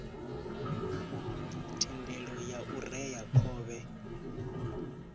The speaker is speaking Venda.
thendelo ya u rea khovhe